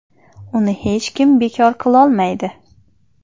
Uni hech kim bekor qilolmaydi.